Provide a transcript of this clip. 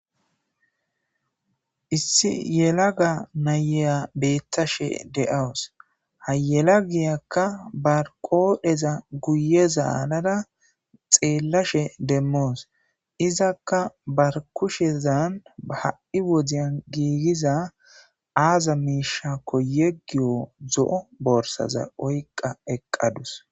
Issi yela ga nayeya beettashe de'awus hayela giyakka barqoodheza guye zaalada xeellashe demmoos izakka barkushezan aha7i wodiyan giigiza aaza miishakko yeggiyo zo'o borsaza oyqa eqqadus.